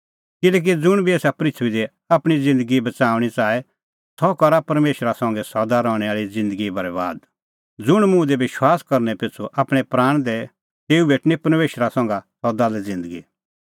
ज़ुंण आपणअ प्राण बच़ाऊआ सह करा तेता बरैबाद और ज़ुंण मेरी बज़्हा आपणैं प्राण शोटे तेऊ भेटणअ सह